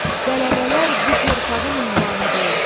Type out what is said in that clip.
Qələbələr bu torpağın ünvanıdır.